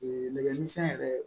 Ee nɛgɛmisɛn yɛrɛ